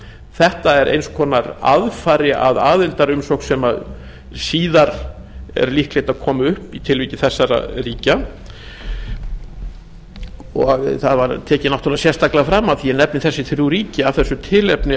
þetta er eins konar aðfari að aðildarumsókn sem síðar er líklegt að komi upp í tilviki þessara ríkja og það var tekið náttúrlega sérstaklega fram af því að ég nefni þessi þrjú ríki af þessu tilefni